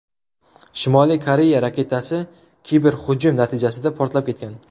Shimoliy Koreya raketasi kiberhujum natijasida portlab ketgan.